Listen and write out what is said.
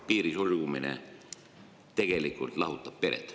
… piiri sulgemine tegelikult lahutab pered.